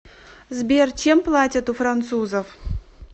сбер чем платят у французов